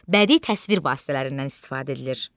Bədii təsvir vasitələrindən istifadə edilir.